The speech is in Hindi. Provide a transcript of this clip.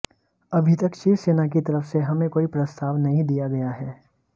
अभी तक शिवसेना की तरफ से हमें कोई प्रस्ताव नहीं दिया गया है